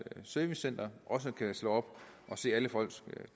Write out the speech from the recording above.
servicecenter kan slå op og se alle folks